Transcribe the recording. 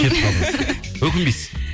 кетіп қалдыңыз өкінбейсіз